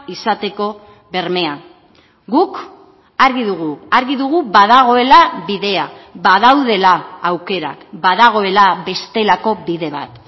izateko bermea guk argi dugu argi dugu badagoela bidea badaudela aukerak badagoela bestelako bide bat